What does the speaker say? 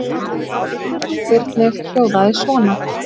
Spurning Birnu hljóðaði svona: